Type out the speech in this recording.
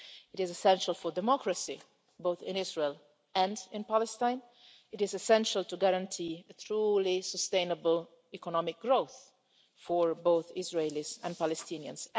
It is essential for democracy, both in Israel and in Palestine and it is essential to guarantee a truly sustainable economic growth for both Israelis and Palestinians.